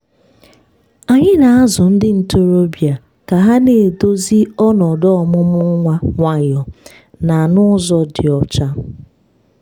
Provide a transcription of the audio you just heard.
anyị na-azụ ndị ntorobịa ka ha na-edozi ọnọdụ ọmụmụ nwa nwayọ na n'ụzọ dị ọcha.